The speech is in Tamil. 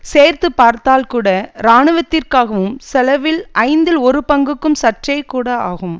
சேர்த்துபார்த்தால் கூட இராணுவத்திற்காகும் செலவில் ஐந்தில் ஒரு பங்குக்கும் சற்றே கூட ஆகும்